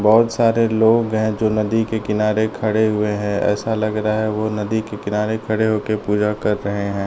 बहोत सारे लोग हैं जो नदी के किनारे खड़े हुए हैं। ऐसा लग रहा है ओ नदी के किनारे खड़े होकर पूजा कर रहे हैं।